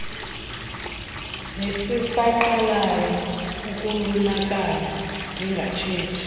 nesisaqalayo ukulunakana ndingathethi